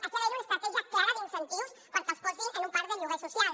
aquí ha d’haver hi una estratègia clara d’incentius perquè els posin en un parc de lloguer social